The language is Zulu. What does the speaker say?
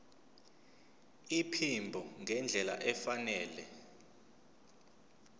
iphimbo ngendlela efanele